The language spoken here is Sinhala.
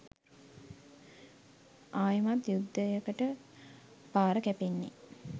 අයෙමත් යුද්ධයකට පාර කැපෙන්නේ.